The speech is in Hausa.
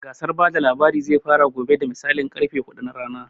Gasar bada labari zai fara gobe da misalin karfe huɗu na rana